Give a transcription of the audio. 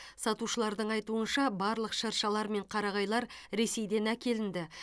сатушылардың айтуынша барлық шыршалар мен қарағайлар ресейден әкелінді